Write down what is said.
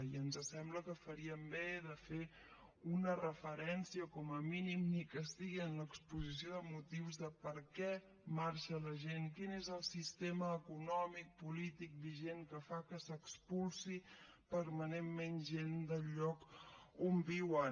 i ens sembla que faríem bé de fer una referència com a mínim ni que sigui en l’exposició de motius de per què marxa la gent quin és el sistema econòmic polític vigent que fa que s’expulsi permanentment gent del lloc on viuen